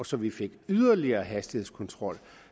så vi fik yderligere hastighedskontrol